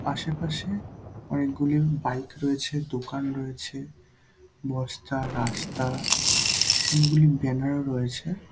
আশেপাশে অনেকগুলি বাইক রয়েছে দোকান রয়েছে বস্তা রাস্তা অনেকগুলি ব্যানার রয়েছে।